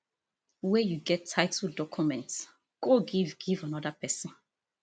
wey you get titled documents go give give anoda pesin